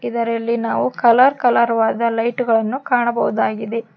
ಇದರಲ್ಲಿ ನಾವು colour colour ವಾದ ಲೈಟ್ ಗಳನ್ನು ಕಾಣಬಹುದಾಗಿದೆ.